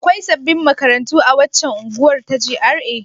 Akwai sabbin makarantu a waccan unguwar ta GRA?